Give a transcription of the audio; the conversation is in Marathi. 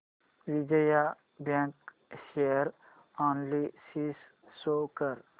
Vijaya bank share analysis show कर